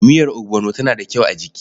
Miyar ogbono tana da kyau a jiki.